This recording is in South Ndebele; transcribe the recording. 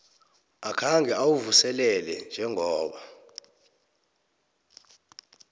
akhange uwuvuselele njengoba